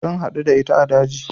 Zan haɗu da ita a daji